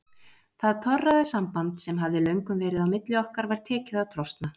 Það torræða samband sem hafði löngum verið á milli okkar var tekið að trosna.